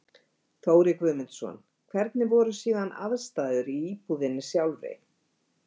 Þórir Guðmundsson: Hvernig voru síðan aðstæður í íbúðinni sjálfri?